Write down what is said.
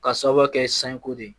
Ka sababu kɛ sanko de ye